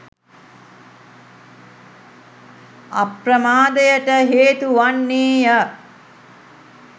අප්‍රමාදයට හේතු වන්නේ ය